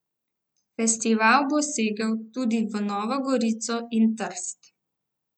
Festival bo segel tudi v Novo Gorico in Trst.